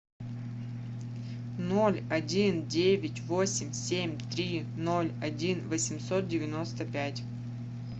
ноль один девять восемь семь три ноль один восемьсот девяносто пять